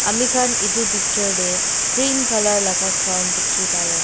mikhan edu picture tae green colour laka ground dikhipaiase--